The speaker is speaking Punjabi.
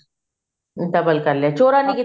double ਕਰ ਲਿਆ ਚੋੜਾ ਨੀ ਕੀਤਾ